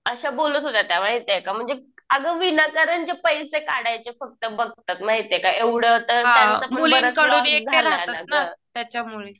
अशा बोलत होत्या त्या. माहितीये का. म्हणजे अगं विनाकारणचे पैसे काढायचं फक्त बघतात. एवढं तर त्यांचा पण बरंच लॉस झाला ना गं.